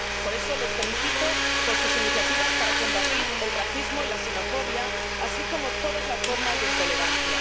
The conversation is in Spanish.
Por eso les felicito por sus iniciativas para combatir el racismo y la xenofobia, así como todas las formas de intolerancia.